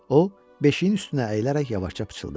O, beşiyin üstünə əyilərək yavaşca pıçıldadı.